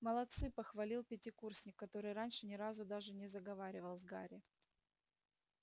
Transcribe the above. молодцы похвалил пятикурсник который раньше ни разу даже не заговаривал с гарри